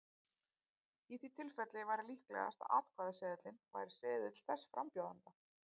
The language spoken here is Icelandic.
Í því tilfelli væri líklegast að atkvæðaseðilinn væri seðill þess frambjóðanda.